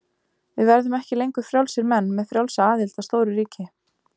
Við verðum ekki lengur frjálsir menn með frjálsa aðild að stóru ríki.